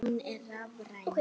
Hún er rafræn.